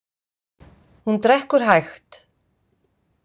Hún drekkur hægt.